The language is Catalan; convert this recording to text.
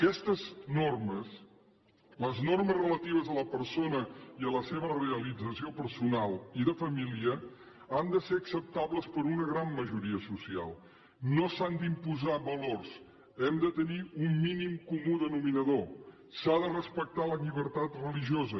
aquestes normes les normes relatives a la persona i a la seva realització personal i de família han de ser acceptables per a una gran majoria social no s’han d’imposar valors hem de tenir un mínim comú denominador s’ha de respectar la llibertat religiosa